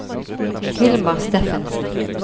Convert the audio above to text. Hilmar Steffensen